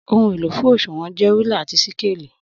Ohun elo fun òṣùwọ̀n jẹ rúlà àtí síkélì.